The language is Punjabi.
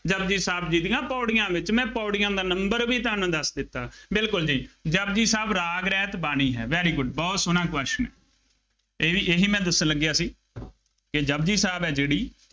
ਜਪੁਜੀ ਸਾਹਿਬ ਜੀ ਦੀਆਂ ਪੌੜੀਆਂ ਦੇ ਵਿੱਚ, ਮੈਂ ਪੌੜੀਆਂ ਦਾ number ਵੀ ਤੁਹਾਨੂੰ ਦੱਸ ਦਿੱੱਤਾ। ਬਿਲਕੁੱਲ ਜੀ, ਜਪੁਜੀ ਸਾਹਿਬ ਰਾਗ ਰਹਿਤ ਬਾਣੀ ਹੈ। very good ਬਹੁਤ ਸੋਹਣਾ question ਇਹ ਵੀ ਇਹੀ ਮੈਂ ਦੱਸਣ ਲੱਗਿਆ ਸੀ, ਕਿ ਜਪੁਜੀ ਸਾਹਿਬ ਹੈ ਜਿਹੜੀ